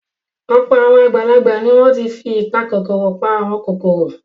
Ọ̀pọ̀ àwọn àgbàlagbà ni wọ́n ti fi ìpakòkòrò pa àwọn kòkòrò.